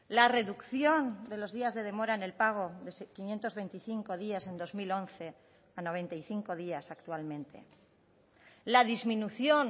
la reducción de los días de demora en el pago de quinientos veinticinco días en dos mil once a noventa y cinco días actualmente la disminución